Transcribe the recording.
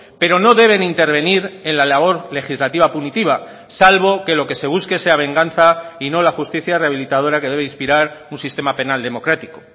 pero no deben intervenir en la labor legislativa punitiva salvo que lo que se busque sea venganza y no la justicia rehabilitadora que debe inspirar un sistema penal democrático